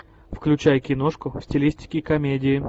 включай киношку в стилистике комедии